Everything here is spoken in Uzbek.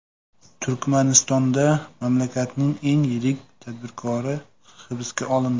Turkmanistonda mamlakatning eng yirik tadbirkori hibsga olindi.